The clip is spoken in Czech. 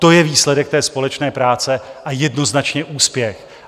To je výsledek té společné práce a jednoznačně úspěch.